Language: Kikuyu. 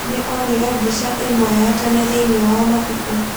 Nĩ onire mbica ĩmwe ya tene thĩinĩ wa mabuku.